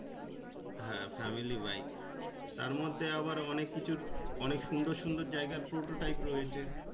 হ্যাঁ family-bike তার মধ্যে আবার অনেক কিছুর অনেক সুন্দর সুন্দর জায়গার prototype রয়েছে।